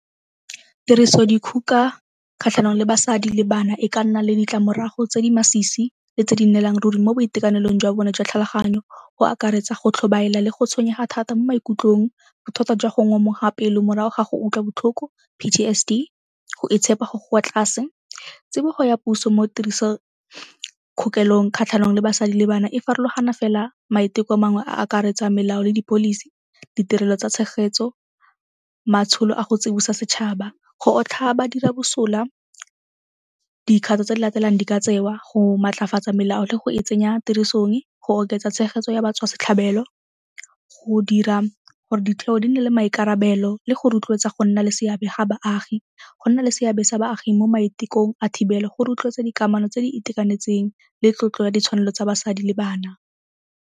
Tirisodikgoka kgatlhanong le basadi le bana e ka nna le ditlamorago tse di masisi le tse di nnelang ruri mo boitekanelong jwa bone jwa tlhaloganyo. Go akaretsa go tlhobaela le go tshwenyega thata mo maikutlong, bothata jwa go ngomoga pelo morago ga go utlwa botlhoko, P_T_S_D, go itshepa go go kwa tlase. Tsibogo ya puso mo tiriso kgatlhanong le basadi le bana e farologana fela maiteko a mangwe a akaretsang melao le di-policy, ditirelo tsa tshegetso, maitsholo a go tsibosa setšhaba, go otlhaya badira bosula. Dikgato tse di latelang di ka tseo, go maatlafatsa melao le go e tsenya tirisong, go oketsa tshegetso ya batswasetlhabelo, go dira gore ditheo di nne le maikarabelo le go rotloetsa go nna le seabe ga baagi, go nna le seabe sa baagi mo maitekong a thibelo go rotloetsa dikamano tse di itekanetseng le tlotlo ya ditshwanelo tsa basadi le bana.